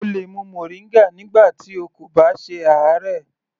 O lè mu moringa nígbà tí o kò bá ṣe àárẹ̀.